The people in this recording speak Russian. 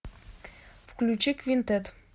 включи квинтет